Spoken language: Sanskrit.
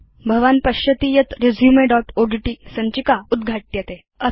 भवान् पश्यति यत् resumeओड्ट् सञ्चिका उद्घाट्यते